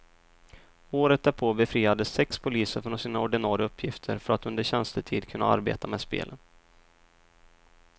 Året därpå befriades sex poliser från sina ordinare uppgifter för att under tjänstetid kunna arbeta med spelen.